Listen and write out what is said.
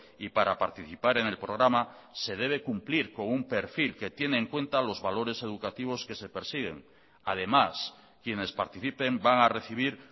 y para participar en el programa se debe cumplir con un perfil que tiene en cuenta los valores educativos que se persiguen además quienes participen van a recibir